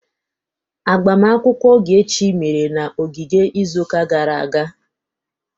Agbamakwụkwọ Ogechi mere na ogige izuụka gara aga.